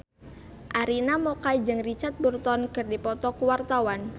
Arina Mocca jeung Richard Burton keur dipoto ku wartawan